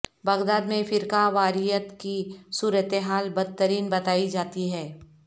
Baghdad میں فرقہ واریت کی صورتحال بدترین بتائی جاتی ہے